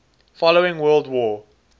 following world war